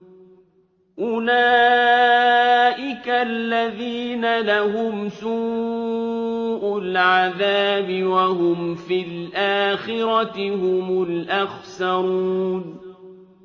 أُولَٰئِكَ الَّذِينَ لَهُمْ سُوءُ الْعَذَابِ وَهُمْ فِي الْآخِرَةِ هُمُ الْأَخْسَرُونَ